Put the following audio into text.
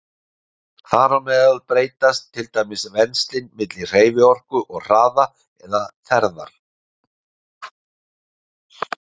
Þar á meðal breytast til dæmis venslin milli hreyfiorku og hraða eða ferðar.